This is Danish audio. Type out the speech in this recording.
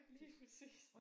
Lige præcis